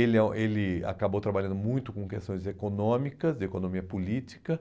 Ele ele acabou trabalhando muito com questões econômicas, de economia política,